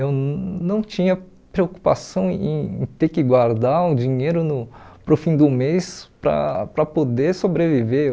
Eu não tinha preocupação em ter que guardar o dinheiro no para o fim do mês para para poder sobreviver.